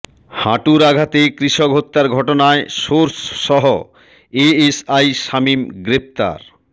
হাঁটুর আঘাতে কৃষক হত্যার ঘটনায় সোর্সসহ এএসআই শামীম গ্রেপ্তার